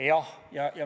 Jah.